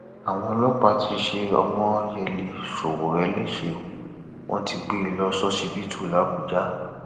àwọn ọlọpàá ti ṣe ọmọyẹlẹ sowore lẹsẹ o wọn ti gbé e lọ ṣọsibítù làbújá